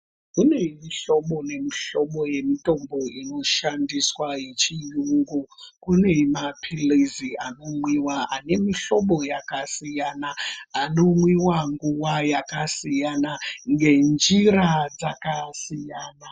Kune mi hlobo ne mu hlobo ye mutombo ino shandiswa ye chiyungu kune mapilizi ano mwiwa ane mu hlobo yaka siyana ano mwiwa nguva yakasiyana nge njira dzaka siyana.